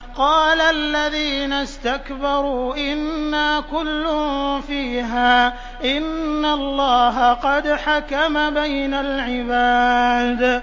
قَالَ الَّذِينَ اسْتَكْبَرُوا إِنَّا كُلٌّ فِيهَا إِنَّ اللَّهَ قَدْ حَكَمَ بَيْنَ الْعِبَادِ